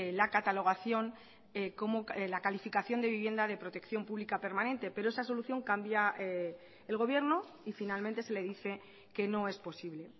la catalogación como la calificación de vivienda de protección pública permanente pero esa solución cambia el gobierno y finalmente se le dice que no es posible